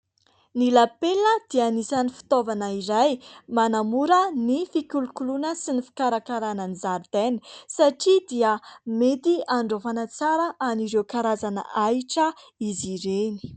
Ny lapelina dia anisany fitaovana iray manamora ny fikolokoloana sy ny fikarakarana ny zaridaina satria dia mety andraofana tsara an'ireo karazana ahitra izy ireny.